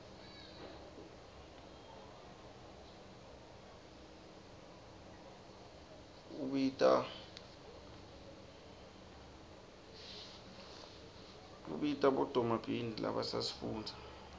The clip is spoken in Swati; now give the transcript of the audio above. ubita bodomabhrinidi labasafufuda